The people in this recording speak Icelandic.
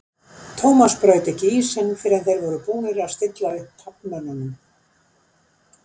Thomas braut ekki ísinn fyrr en þeir voru búnir að stilla upp taflmönnunum.